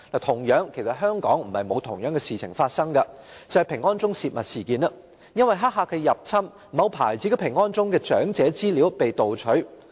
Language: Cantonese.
同樣，香港亦曾發生同類事件，就是平安鐘泄密事件，由於黑客入侵，某牌子平安鐘的長者資料被盜取。